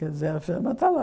Quer dizer, a firma está lá.